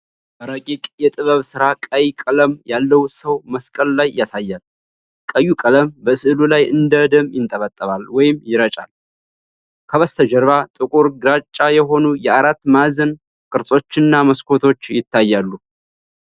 ረቂቅ የጥበብ ሥራ ቀይ ቀለም ያለው ሰውን መስቀል ላይ ያሳያል። ቀዩ ቀለም በስዕሉ ላይ እንደ ደም ይንጠባጠባል ወይም ይረጫል። ከበስተጀርባ ጥቁር ግራጫ የሆኑ የአራት ማዕዘን ቅርጾችና መስኮቶች ይታያሉ።